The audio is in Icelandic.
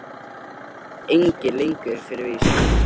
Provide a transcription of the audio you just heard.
Það veit enginn lengur fyrir víst.